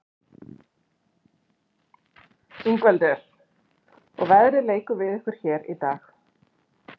Ingveldur: Og veðrið leikur við ykkur hér í dag?